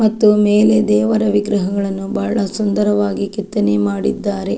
ಮತ್ತು ಮೇಲೆ ದೇವರ ವಿಗ್ರಹಗಳನ್ನು ಬಹಳ ಸುಂದರವಾಗಿ ಕೆತ್ತನೆ ಮಾಡಿದ್ದಾರೆ.